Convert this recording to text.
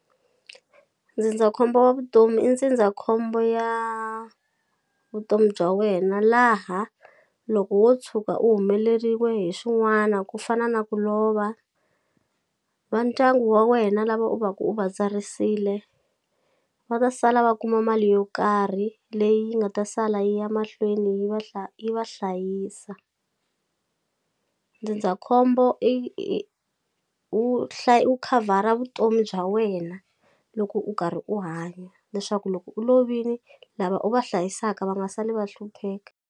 Ndzindzakhombo wa vutomi i ndzindzakhombo ya vutomi bya wena laha loko wo tshuka u humeleriwe hi swin'wana ku fana na ku lova va ndyangu wa wena lava u vaku u va tsarisile va ta sala va kuma mali yo karhi leyi yi nga ta sala yi ya mahlweni yi va yi va hlayisa ndzindzakhombo i wu hlaya wu khavhara vutomi bya wena loko u karhi u hanya leswaku loko u lovini lava u va hlayisaka va nga sali va hlupheka.